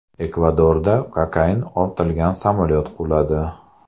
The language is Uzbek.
Ekvadorda kokain ortilgan samolyot quladi.